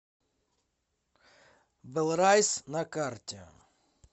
бэлрайс на карте